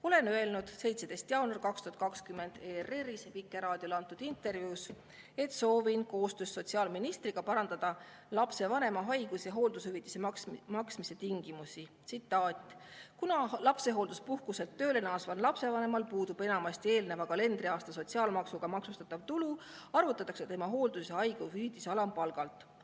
Ütlesin 17. jaanuaril 2020 ERR‑is Vikerraadiole antud intervjuus, et soovin koostöös sotsiaalministriga parandada lapsevanema haigus‑ ja hooldushüvitise maksmise tingimusi: "Kuna lapsehoolduspuhkuselt tööle naasval lapsevanemal puudub enamasti eelneva kalendriaasta sotsiaalmaksuga maksustatav tulu, arvutatakse tema hooldus- ja haigushüvitis alampalgalt.